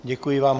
Děkuji vám.